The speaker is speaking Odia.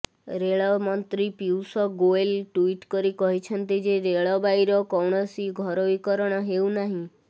ରେଳମନ୍ତ୍ରୀ ପିୟୁଷ ଗୋଏଲ ଟ୍ୱିଟ୍ କରି କହିଛନ୍ତି ଯେ ରେଳବାଇର କୌଣସି ଘରୋଇ କରଣ ହେଉନାହିଁ